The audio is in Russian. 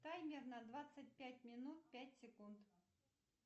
таймер на двадцать пять минут пять секунд